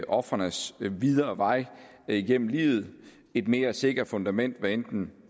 ofrenes videre vej gennem livet et mere sikkert fundament hvad enten